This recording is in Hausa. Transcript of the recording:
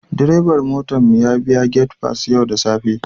Direban motar mu ya biya gate pass yau da safe